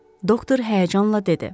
Doktor həyəcanla dedi.